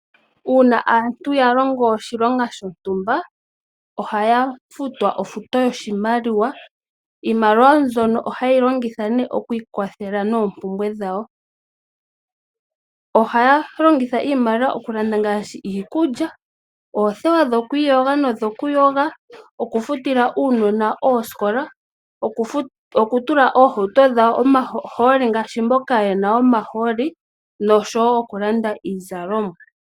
Uuna aantu yalongo oshilonga shontumba , ohaya futwa ofuto yoshimaliwa. Iimaliwa mbyono ohayeyi longitha okwiikwathela noompumbwe dhawo. Ohaya longitha iimaliwa okulanda ngaashi iikulya, oothewa dhokwiiyoga nodhokuyoga, okufutila uunona oosikola , okutula oohauto dhawo omahooli ngaashi mboka yena omahooli noshowoo okulanda iizalomwa.